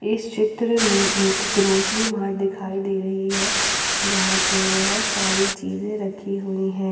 इस चित्र में एक ग्रोसरी मार्ट दिखाई दे रही है जहां पे बहुत सारी चीजे रखी हुई है।